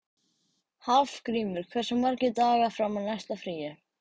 Hafgrímur, hversu margir dagar fram að næsta fríi?